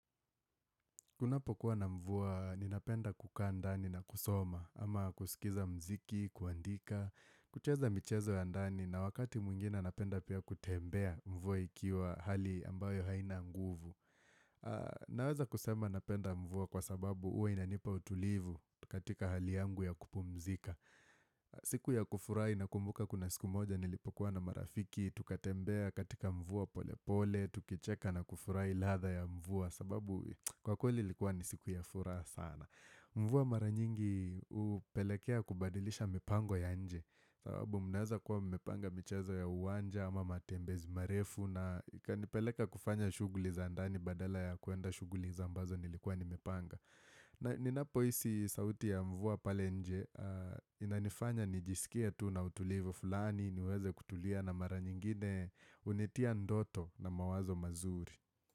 Kunapokuwa na mvua, ninapenda kukaa ndani na kusoma, ama kusikiza mziki, kuandika, kucheza michezo ya ndani, na wakati mwingine napenda pia kutembea mvua ikiwa hali ambayo haina nguvu. Naweza kusema napenda mvua kwa sababu huwa inanipa utulivu katika hali yangu ya kupumzika. Siku ya kufurahi nakumbuka kuna siku moja nilipokuwa na marafiki, tukatembea katika mvua polepole, tukicheka na kufurahi ladha ya mvua. Sababu kwa kweli ilikuwa ni siku ya furaha sana. Mvua mara nyingi upelekea kubadilisha mipango ya nje sababu mnaweza kuwa mmepanga michezo ya uwanja ama matembezi marefu na ikanipeleka kufanya shughuli za ndani badala ya kuenda shughuli za ambazo nilikuwa nimepanga na ninapohisi sauti ya mvua pale nje Inanifanya nijisikie tu na utulivu fulani niweze kutulia na mara nyingine hunitia ndoto na mawazo mazuri.